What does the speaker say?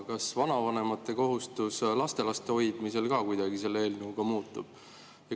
Kas vanavanemate kohustus lastelaste hoidmisel ka kuidagi selle eelnõuga muutub?